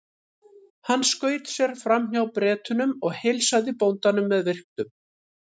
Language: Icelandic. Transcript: Hann skaut sér fram hjá Bretunum og heilsaði bóndanum með virktum.